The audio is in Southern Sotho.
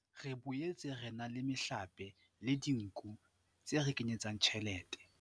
Re boetse re na le mehlape le dinku tse re kenyetsang tjhelete.